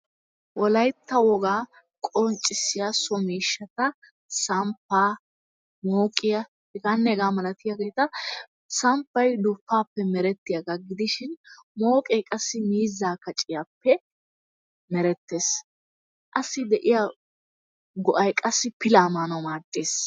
Wolayttaa wogaa qoncissiyaa so mishattaa samppaa, moqiyaa heganne hegaa malatiyaagettaa. samppayi dupappe merettiyagaa gidishin moqqee wassi mizaa kacciyappe merettes, assi de'iyaa go'ayi qassi fillaa manawu maddess